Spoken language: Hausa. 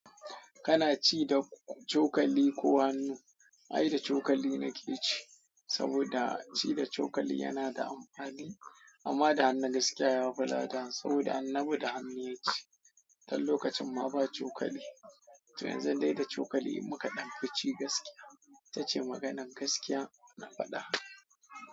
Kana ci da cokali ko hannu? Ai da cokali nake ci saboda ci da cokali yana da amfani amma da hannun gaskiya yafi lada saboda Annabi da hannu ya ci. Tun lokacin ma ba cokali. To yanzun dai da cokali muka ɗan fi ci gaskiya. Itace maganan gaskiya na faɗa.